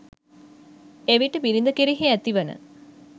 එවිට බිරිඳ කෙරෙහි ඇතිවන